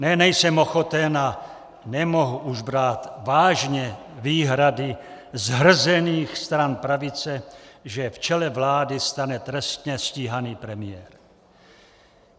Ne, nejsem ochoten a nemohu už brát vážně výhrady zhrzených stran pravice, že v čele vlády stane trestně stíhaný premiér.